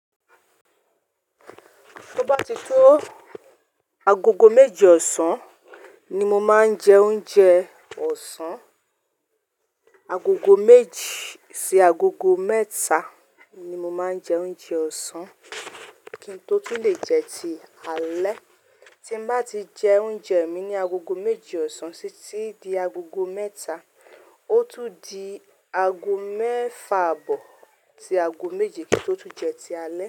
Tó bá ti tó agogo méjì ọ̀sán ni mo máa ń jẹ oúnjẹ ọ̀sán, agogo méjì sí agogo mẹ́ta ni mo máa ń jẹ oúnjẹ ọ̀sán kí n tó tún lè jẹ ti alẹ́. Tí bá ti jẹ oúnjẹ mi ní agogo méjì ọ̀sán títí di agogo mẹ́ta, ó tún di ago mẹ́fa bọ̀ sí ago méje kí n tó tún jẹ ti alẹ́.